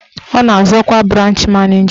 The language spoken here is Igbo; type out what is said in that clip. Ọ na-azọ ọkwa branch maneja.